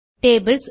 tables